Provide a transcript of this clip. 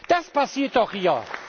Das passiert doch hier.